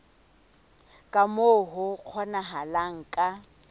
ka moo ho kgonahalang ka